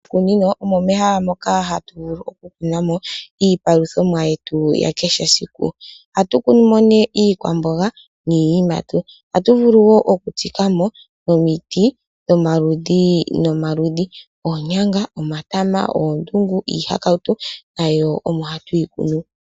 Miikunino omo mehala moka hatu vulu oku kunamo iipaluthomwa yetu yakeshe esiku, oha tu kunu mo nee iikwamboga, niiyimati . Oha tu vulu woo okutsikamo omiti dhomaludhi nomaludhi. Oonyanga, omatama, oondungu, iihakautu, nayo omo ha tu yi kunu.